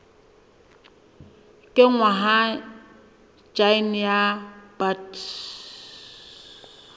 kenngwa ha jine ya bt